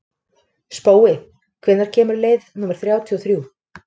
Spói, hvenær kemur leið númer þrjátíu og þrjú?